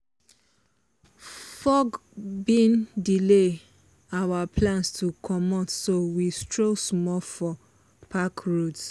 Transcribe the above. fog bin delay our plans to comot so we stroll small for park roads.